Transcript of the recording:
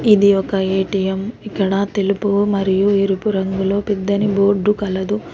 ఇది ఒక ఎ_టి_యమ్ ఇక్కడ తెలుపు మరియు ఎరుపు రంగులో పెద్దని బోర్డు కలదు.